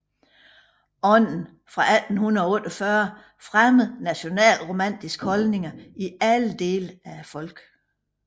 Ånden fra 1848 fremmede nationalromantiske holdninger i alle dele af folket